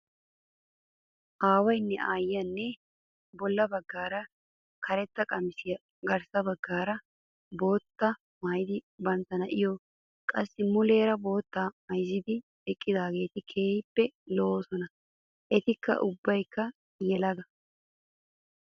Aawayinne aayyiyaa bolla baggaara karetta qassi garssa baggaara boottaa maayidi bantta na''iyoo qassi muleera boottaa mayizzidi eqqidaageeti keehippe lo''oosona. Eti ubbayikka yelaga.